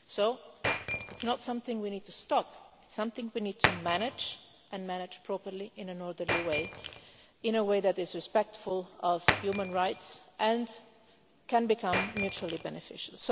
So it is not something we need to stop, it is something we need to manage, and manage properly in an orderly way, in a way that is respectful of human rights and can become mutually beneficial.